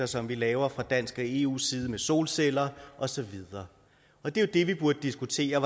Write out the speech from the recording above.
som vi laver fra dansk og fra eus side med solceller og så videre det vi burde diskutere